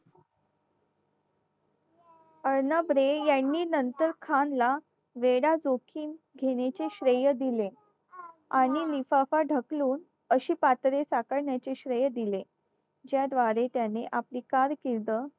अर्नब रे यांनी नंतर खानला वेडा जोखीम घेण्याचे श्रेय दिले आणि लिफाफा ढकलून अशी पात्र साकारण्याचे श्रेय दिले ज्याद्वारे त्याने कार्यकिर्द